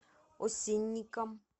осинникам